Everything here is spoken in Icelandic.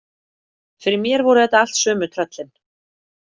Fyrir mér voru þetta allt sömu tröllin.